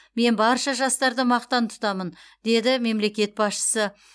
мен барша жастарды мақтан тұтамын деді мемлекет басшысы